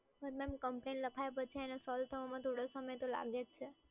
પણ madam, complain લખાયા પછી એને સોલ્વ થવામાં થોડો સમય તો લાગે છે.